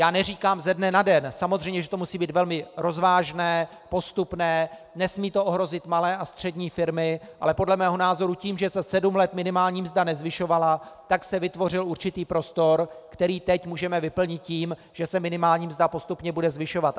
Já neříkám ze dne na den, samozřejmě, že to musí být velmi rozvážné, postupné, nesmí to ohrozit malé a střední firmy, ale podle mého názoru tím, že se sedm let minimální mzda nezvyšovala, tak se vytvořil určitý prostor, který teď můžeme vyplnit tím, že se minimální mzda postupně bude zvyšovat.